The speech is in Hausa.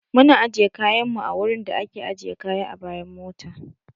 Mun ajiye kayan mu a wurin da a ke ajiye kaya a bayan mota